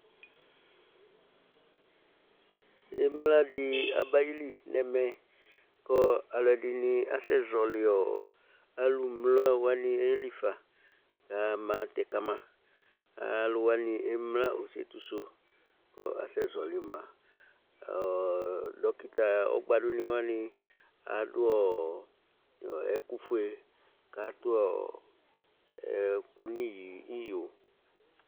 emle dɩ abayili nʊ ɛmɛ kʊ alʊɛdɩnɩ asɛ zɔlɩ alʊ mle wanɩ yeli fa, kamatɛ kama, alʊwanɩ emle osetisʊ, kʊ asɛ zɔli ma, dokita ɔgbadʊnɩwanɩ adʊ ɛkʊfue, kʊ ewu ɛkʊ n'iyo